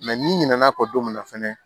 n'i ɲinɛna'o don min na fɛnɛ